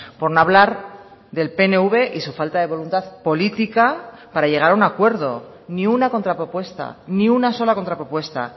por no hablar del pnv y su falta de voluntad política para llegar a un acuerdo ni una contrapropuesta ni una sola contrapropuesta